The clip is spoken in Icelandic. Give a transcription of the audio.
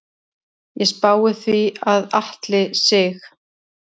Ég spái því að Atli Sig.